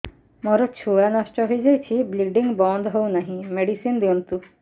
ମୋର ଛୁଆ ନଷ୍ଟ ହୋଇଯାଇଛି ବ୍ଲିଡ଼ିଙ୍ଗ ବନ୍ଦ ହଉନାହିଁ ମେଡିସିନ ଦିଅନ୍ତୁ